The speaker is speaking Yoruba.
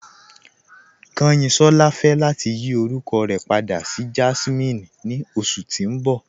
Kanyinsọla fẹ lati yí orúkọ rẹ pàdà sí Jásminè ni oṣù tí n bọ̀